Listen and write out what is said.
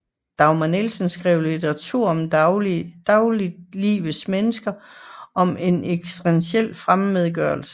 Dagmar Nielsen skrev litteratur om dagliglivets mennesker og om ekstentiel fremmedgørelse